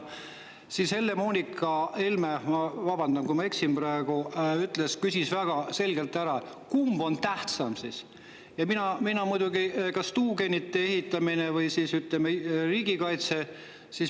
Siis Helle-Moonika Helme – ma vabandan, kui ma eksin praegu – küsis väga selgelt, kumb on tähtsam, kas tuugenite ehitamine või riigikaitse.